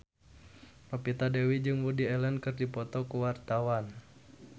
Novita Dewi jeung Woody Allen keur dipoto ku wartawan